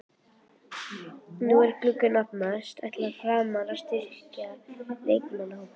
Nú er glugginn að opnast, ætla Framarar að styrkja leikmannahópinn?